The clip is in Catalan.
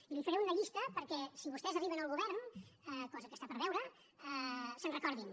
i li’n faré una llista perquè si vostès arriben al govern cosa que està per veure se’n recordin